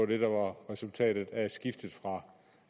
det der var resultatet af skiftet fra